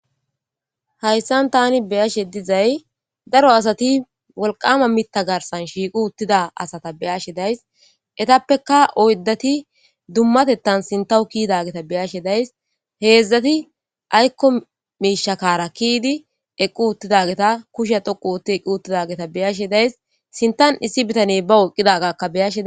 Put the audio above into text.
hayssan tani beyashe dizay daro asati wolqama mita garsan shiiqu uttida asata beyashe days etappeka oydati dummatettan sintawu kiidageta beyashe days heedzdzati aykko miishakara kiidi eqqu uttidageta kushe dhoqu wotti eqqu uttidageta beyashe days sintan issi bitaney ba woqqidagakka beyashea